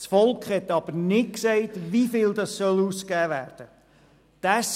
Das Volk hat aber nicht gesagt, wieviel ausgegeben werden soll.